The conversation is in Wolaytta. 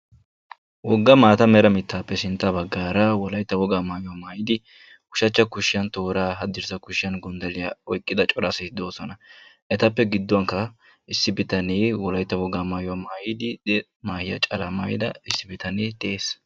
woga maata mera mitaappe sintta bagaara wolaytta wogaa maayuwa maayidiu shachcha kushiyan tooraa, hadirssa kushiyan gonddalliya oyqqida cora asay de'ees, etappe gidduwankka issi bitanee wolaytta wogaa maayuwa maayidi maahiya calaa maayida issi bitanee de'ees.